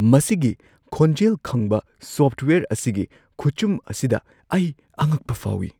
ꯃꯁꯤꯒꯤ ꯈꯣꯟꯖꯦꯜ ꯈꯪꯕ ꯁꯣꯐꯋꯦꯌꯔ ꯑꯁꯤꯒꯤ ꯈꯨꯆꯨꯝ ꯑꯁꯤꯗ ꯑꯩ ꯑꯉꯛꯄ ꯐꯥꯎꯏ꯫